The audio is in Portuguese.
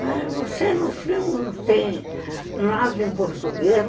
Mas você, no fim, não tem nada em português.